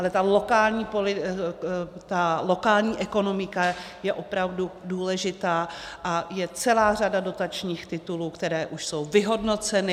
Ale ta lokální ekonomika je opravdu důležitá a je celá řada dotačních titulů, které už jsou vyhodnoceny.